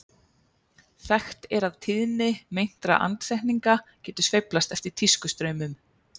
þekkt er að tíðni meintra andsetninga getur sveiflast eftir tískustraumum